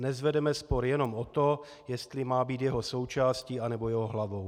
Dnes vedeme spor jenom o to, jestli má být jeho součástí, anebo jeho hlavou.